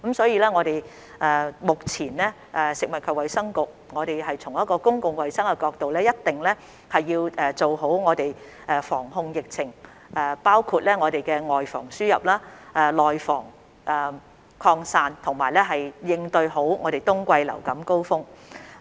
因此，食物及衞生局一定會從公共衞生角度做好防控疫情的工作，包括"外防輸入、內防擴散"，好好應對冬季流感高峰期。